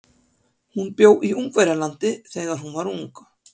Hún bjó í Ungverjalandi þegar hún var ung.